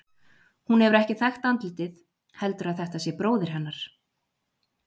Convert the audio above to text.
Hún hefur ekki þekkt andlitið, heldur að þetta sé bróðir hennar.